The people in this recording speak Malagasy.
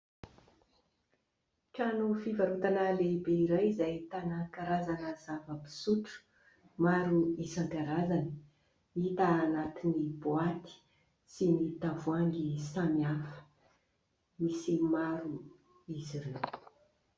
Trano fivarotana lehibe iray izay ahitana karazana zava-pisotro maro isankarazany ; hita anatin'ny boaty sy ny tavoahangy samihafa, misy maro izy ireo.